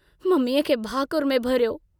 मम्मीअ खे भाकुर में भरियो।